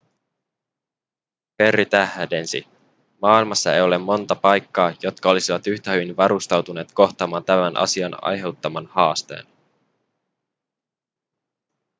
perry tähdensi maailmassa ei ole monta paikkaa jotka olisivat yhtä hyvin varustautuneet kohtaamaan tämän asian aiheuttaman haasteen